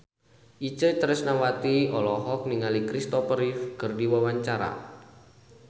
Itje Tresnawati olohok ningali Christopher Reeve keur diwawancara